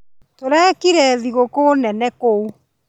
Tũrekire thigũkũ nene kũu